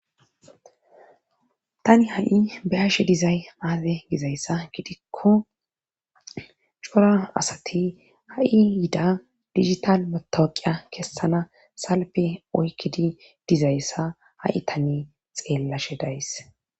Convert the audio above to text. tani ha'i beyashe dizay aaze gizayssa gidikko cora asati ha'i yida digital motoqiya kessana salpe oykkidi dizayssa ha'i tani xeellashe days